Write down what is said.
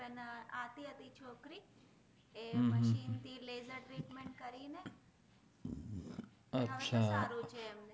અચ્છા હવે તો સારું છે એમને